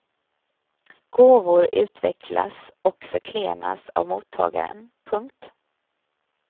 Gåvor utväxlas och förklenas av mottagaren. punkt